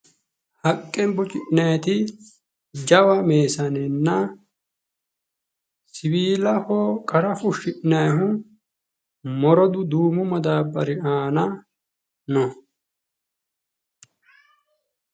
Haqqe bocci'nayiti jawa meessanenna siwiillaho qarra fushi'nahu morodu duumu maddaabbari aanna no.